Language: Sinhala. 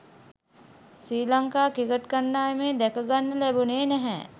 ශ්‍රී ලංකා ක්‍රිකට් කණ්ඩායමේ දැකගන්න ලැබුණේ නැහැ.